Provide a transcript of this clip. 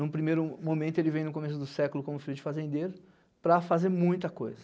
Em um primeiro momento ele vem no começo do século como filho de fazendeiro para fazer muita coisa.